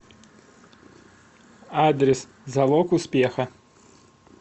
адрес залог успеха